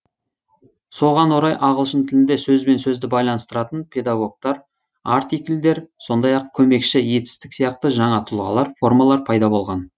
соған орай ағылшын тілінде сөз бен сөзді байланыстыратын предлогтар артикльдер сондай ақ көмекші етістік сияқты жаңа тұлғалар формалар пайда болған